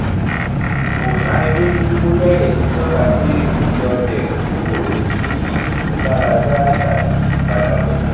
kò dánilójú bóyá èyí tọka pé ó lọlẹ kúrò ó ní ìmúláradá tàbí ìpadàbọ